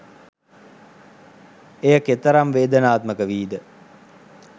එය කෙතරම් වේදනාත්මක වීද